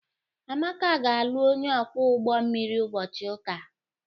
Amaka ga-alụ onye ọkwọ ụgbọ mmiri ụbọchị ụka.